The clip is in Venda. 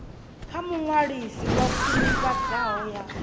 kha muṅwalisi wa khwinifhadzo ya